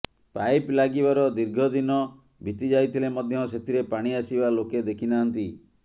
pipe ଲାଗିବାର ଦୀର୍ଘ ଦିନ ବିତିଯାଇଥିଲେ ମଧ୍ୟ ସେଥିରେ ପାଣି ଆସିବା ଲୋକେ ଦେଖି ନାହାନ୍ତି